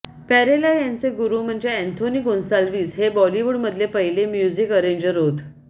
प्यारेलाल यांचे गुरु म्हणजे अँथोनी गोन्सालवीस हे बॉलीवूडमधले पहिले म्युजिक अरेंजर होत